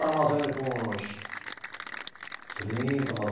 Estava mais ou menos com uns, trinta mais ou